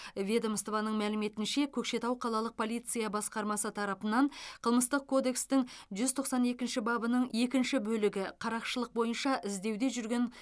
ведомствоның мәліметінше көкшетау қалалық полиция басқармасы тарапынан қылмыстық кодекстің жүз тоқсан екінші бабының екінші бөлігі қарақшылық бойынша іздеуде жүрген